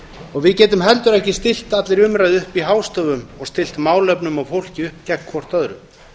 og við getum heldur ekki stillt allri umræðu upp í hástöfum og stillt málefnum og fólki upp gegn hvort öðru